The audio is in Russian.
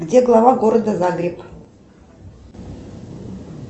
где глава города загреб